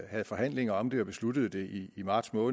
havde forhandlinger om det og besluttede det i marts på